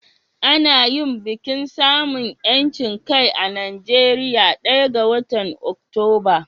Ana yin bikin samun 'yancin kai a Najeriya ɗaya ga watan Oktoba.